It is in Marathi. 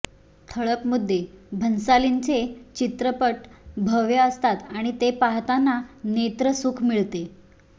ठळक मुद्देभन्सालींचे चित्रपट भव्य असतात आणि ते पाहताना नेत्रसुख मिळते